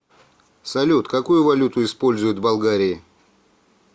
салют какую валюту используют в болгарии